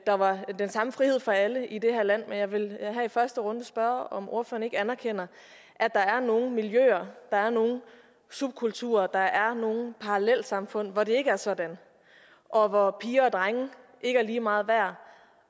der var den samme frihed for alle i det her land men jeg vil her i første runde spørge om ordføreren ikke anerkender at der er nogle miljøer der er nogle subkulturer der er nogle parallelsamfund hvor det ikke er sådan og hvor piger og drenge ikke er lige meget værd